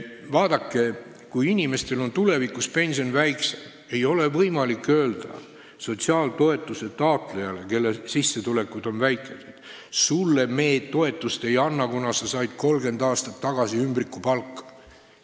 Vaadake, kui inimestel on tulevikus pension väiksem, siis ei ole võimalik sotsiaaltoetuse taotlejatele, kelle sissetulek on väike, öelda: teile me toetust ei anna, kuna te saite 30 aastat tagasi ümbrikupalka.